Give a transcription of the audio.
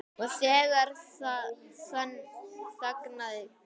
Og þegar þangað kæmi.